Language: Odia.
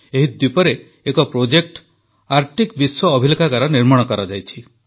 ଏହି ଦ୍ୱୀପରେ ଏକ ପ୍ରୋଜେକ୍ଟ ଆର୍କଟିକ୍ ବିଶ୍ୱ ଅଭିଲେଖାଗାର ନିର୍ମାଣ କରାଯାଇଛି